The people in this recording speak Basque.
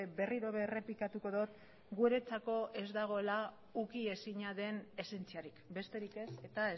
berriro ere errepikatuko dut guretzako ez dagoela ukiezina den esentziarik besterik ez eta